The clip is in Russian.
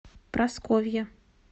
прасковье